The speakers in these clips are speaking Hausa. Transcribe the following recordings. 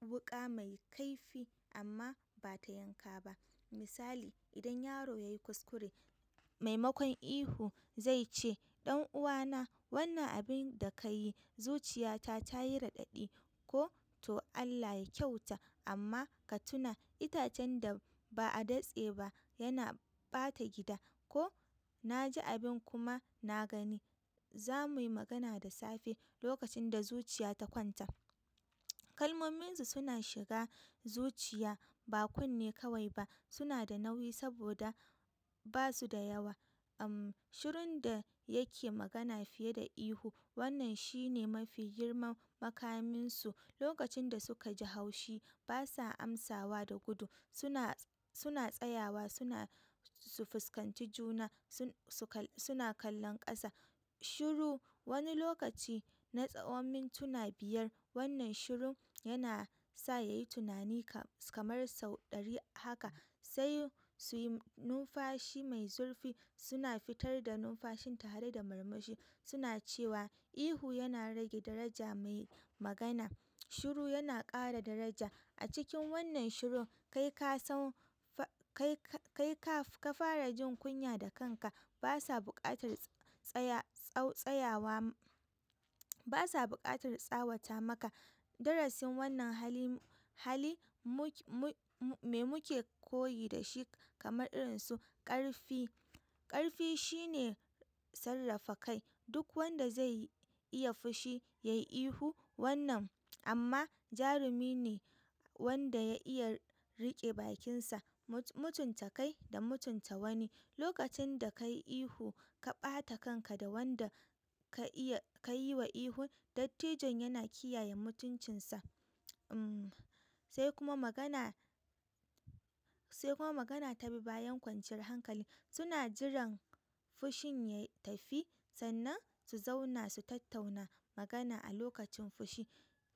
wuƙa mai kaifi amma ba ta yanka ba. Misali, idan yaro ya yi kuskure, maimakon ihu zai ce, "Ɗan uwana, wannan abin da ka yi, zuciya ta tayi raɗaɗi," ko "to Allah ya kyauta amma ka tuna itacen da ba a datse ba yana ɓata gida," ko "na ji abin kuma na gani, za mu yi magana da safe." lokacin da zuciya ta kwanta, kalmomin su suna shiga zuciya ba kunne kawai ba. Suna da nauyi saboda ba su da yawa. Shirun da yake magana fiye da ihu, wannan shi ne mafi girman makaminsu. Lokacin da suka ji haushi, ba sa amsawa da gudu. Suna tsayawa, suna su fuskanci juna, suna kallon ƙasa. Shiru wani lokaci na tsawon mintuna biyar. Wannan shiru yana sa ya yi tunani kamar sau ɗari. Haka sai su yi numfashi mai zurfi. Suna fitar da numfashin tare da murmushi, suna cewa ihu yana rage daraja mai magana. Shiru yana ƙara daraja. A cikin wannan shiru, kai ka fara jin kunya da kanka. Ba sa buƙatar tsawata maka. Darasin wannan hali, me muke koyi da shi? Kamar irinsu ƙarfi. Ƙarfi shine sarrafa kai. Duk wanda zai iya fushi yayi ihu, wannan amma jarumi ne wanda ya iya rike bakin sa. Mutunta kai da mutunta wani. Lokacin da ka yi ihu, ka ɓata kanka da wanda ka yi wa ihu. Dattijon yana kiyaye mutuncinsa, sai kuma magana magana ta bi bayan kwanciyar hankali. Suna jiran fushin ya tafi sannan su zauna su tattauna magana. A lokacin fushi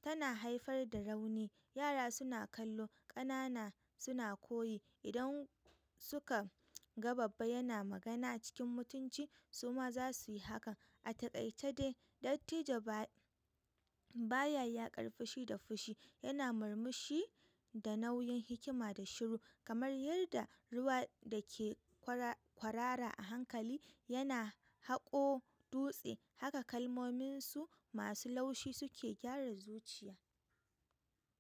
tana haifar da rauni. Yara suna kallo, ƙanana suna koyi. Idan suka ga babba yana magana cikin mutunci, su ma za su yi haka. A takaice dai, dattijo ba ya ƙar fushi da fushi. Yana murmushi da nauyin hikima da shiru. Kamar yadda ruwa da ke kwarara a hankali yana haƙo dutse, haka kalmominsu masu laushi suke gyara zuciya.